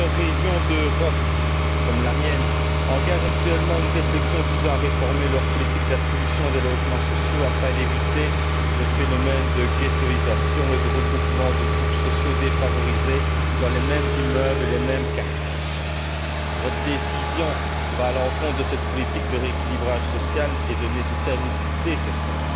Plusieurs régions d'Europe, comme la mienne, engagent actuellement une réflexion visant à réformer leur politique d'attribution des logements sociaux afin d'éviter les phénomènes de ghettoïsation et de regroupement des groupes sociaux défavorisés dans les mêmes immeubles et les mêmes quartiers. Votre décision va à l'encontre de cette politique de rééquilibrage social et de nécessaire mixité sociale.